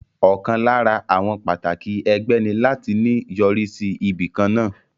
Ọ̀kan lára àwọn pàtàkì ẹgbẹ́ ní láti ní yọrí sí ibìkan náà